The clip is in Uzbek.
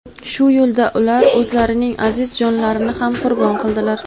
Shu yo‘lda ular o‘zlarining aziz jonlarini ham qurbon qildilar.